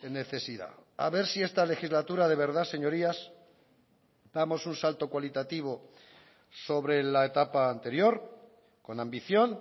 necesidad a ver si esta legislatura de verdad señorías damos un salto cualitativo sobre la etapa anterior con ambición